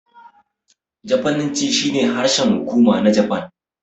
Jafananci shine harshen hukuma na Japan.